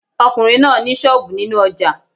ọkùnrin náà ni sọ́ọ̀bù nínú ojà